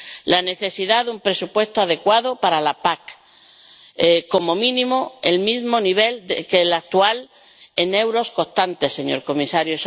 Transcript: Es necesario un presupuesto adecuado para la PAC, como mínimo del mismo nivel que el actual, en euros constantes, señor comisario.